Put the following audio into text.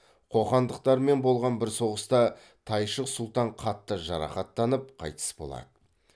қоқандықтармен болған бір соғыста тайшық сұлтан қатты жарақаттанып қайтыс болады